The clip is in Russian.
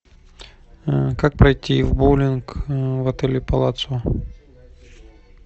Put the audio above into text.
как пройти в боулинг в отеле палацио